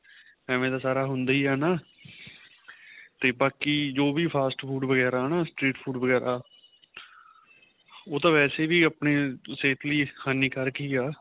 ਐਵੇ ਦਾ ਸਾਰਾ ਹੁੰਦਾ ਏ ਹੈਨਾ ਤੇ ਬਾਕੀ ਜੋ ਵੀ fast food ਵਗੇਰਾ ਹੈਨਾ food ਵਗੇਰਾ ਉਹ ਤਾਂ ਵੈਸੇ ਵੀ ਆਪਣੀ ਸਿਹਤ ਲਈ ਹਾਨੀਕਾਰਕ ਹੀ ਏ